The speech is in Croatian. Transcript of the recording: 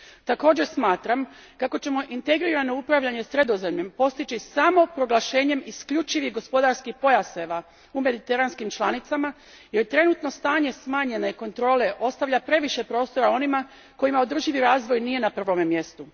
Također smatram kako ćemo integrirano upravljanje Sredozemljem postići samo proglašenjem isključivih gospodarskih pojaseva u mediteranskim članicama jer trenutno stanje smanjene kontrole ostavlja previše prostora onima kojima održivi razvoj nije na prvome mjestu.